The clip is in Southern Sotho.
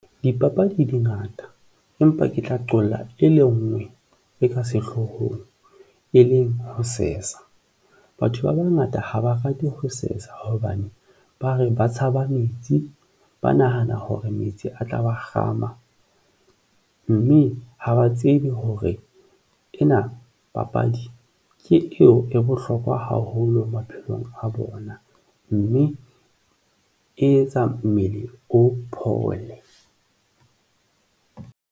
Dipapadi dingata empa ke tla qolla e le ngwe e ka sehlohong e leng ho sesa. Batho ba bangata ha ba rate ho sesa hobane ba re ba tshaba metsi, ba nahana hore metsi a tla ba kgama mme ha ba tsebe hore ena papadi ke eo, e bohlokwa haholo maphelong a bona, mme e etsa mmele o phole.